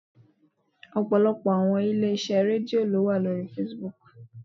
Ọ̀pọ̀lọpọ̀ àwọn ilé iṣẹ́ Rédíò ló wà lórí Facebook.